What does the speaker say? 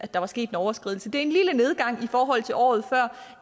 der var sket en overskridelse det er en lille nedgang i forhold til året før